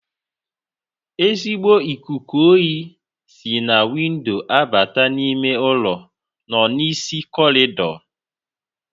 Ezigbo ikuku oyi si na windo abata ime ụlọ nọ n'isi corridor